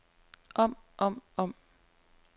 om om om